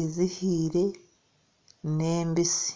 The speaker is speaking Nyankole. ezihaire n'embisi